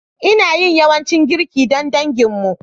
Ina yin yawancin girki don danginmu.